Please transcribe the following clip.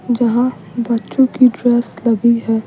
जहां बच्चों की ड्रेस लगी है।